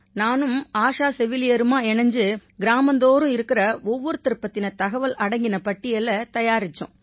நானும் ஆஷா செவிலியருமா இணைஞ்சு கிராமந்தோறும் இருக்கற ஒவ்வொருத்தர் பத்தின தகவல் அடங்கின பட்டியலைத் தயாரிச்சோம்